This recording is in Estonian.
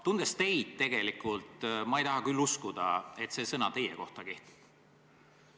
Tundes teid, ei taha ma küll uskuda, et see sõna teie kohta kehtib.